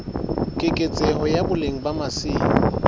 keketseho ya boleng ba masimo